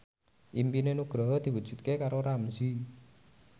impine Nugroho diwujudke karo Ramzy